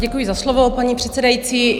Děkuji za slovo, paní předsedající.